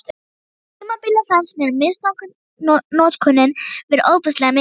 Á tímabili fannst mér misnotkunin vera ofboðslega mikil.